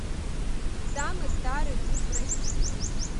самый старый дуб в россии